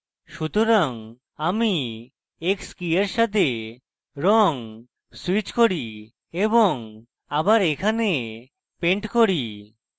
সুতরাং আমি x key এর সাথে রঙ switch key এবং আবার এখানে paint key